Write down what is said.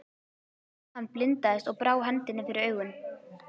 Hann blindaðist og brá hendinni fyrir augun.